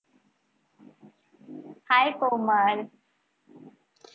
hi Komal